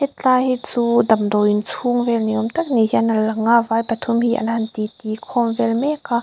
hetlai hi chu damdawiin chhung vel ni awm tak ni hian a lang a vai pathum hi an han ti ti khawm vel mek a.